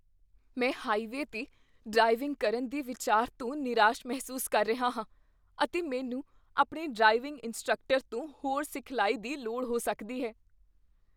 ਮੈਂ ਹਾਈਵੇਅ 'ਤੇ ਡ੍ਰਾਈਵਿੰਗ ਕਰਨ ਦੇ ਵਿਚਾਰ ਤੋਂ ਨਿਰਾਸ਼ ਮਹਿਸੂਸ ਕਰ ਰਿਹਾ ਹਾਂ, ਅਤੇ ਮੈਨੂੰ ਆਪਣੇ ਡਰਾਈਵਿੰਗ ਇੰਸਟ੍ਰਕਟਰ ਤੋਂ ਹੋਰ ਸਿਖਲਾਈ ਦੀ ਲੋੜ ਹੋ ਸਕਦੀ ਹੈ।